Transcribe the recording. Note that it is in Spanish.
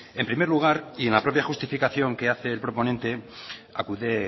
en primer lugar y en la propia justificación que hace el proponente acude